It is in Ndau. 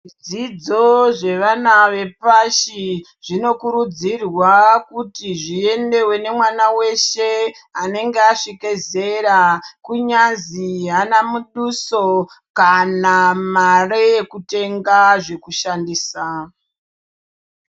Zvidzidzo zvevana vepashi zvinokurudzirwa kuti zviendeve nemwana veshe anenge asvika zera. Kunyazi haana muduso kana mare yekutenga zvekushandisa.